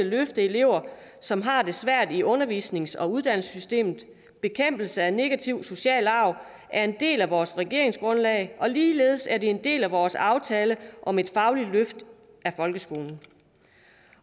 løfte elever som har det svært i undervisnings og uddannelsessystemet bekæmpelse af negativ social arv er en del af vores regeringsgrundlag og ligeledes er det en del af vores aftale om et fagligt løft af folkeskolen